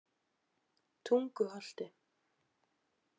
Tunguholti